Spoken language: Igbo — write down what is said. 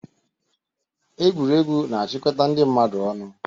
Egwuregwu na-achịkọta ndị mmadụ ọnụ.